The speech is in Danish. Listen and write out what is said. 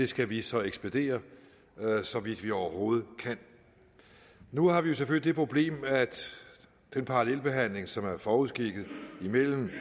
skal vi så ekspedere så vidt vi overhovedet kan nu har vi jo selvfølgelig det problem at den parallelbehandling som er forudskikket mellem